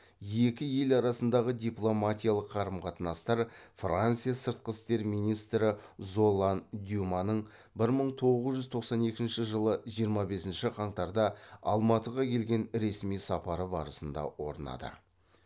екі ел арасындағы дипломатиялық қарым қатынастар франция сыртқы істер министрі золлан дюманың бір мың тоғыз жүз тоқсан екінші жылы жиырма бесінші қаңтарда алматыға келген ресми сапары барысында орнады